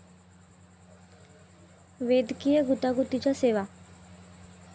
वैद्यकीय गुंतागुंतीच्या सेवा